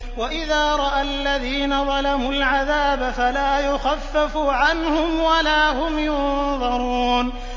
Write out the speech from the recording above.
وَإِذَا رَأَى الَّذِينَ ظَلَمُوا الْعَذَابَ فَلَا يُخَفَّفُ عَنْهُمْ وَلَا هُمْ يُنظَرُونَ